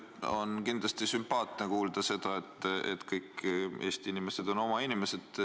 On kindlasti sümpaatne teie suust kuulda, et kõik Eesti inimesed on meie oma inimesed.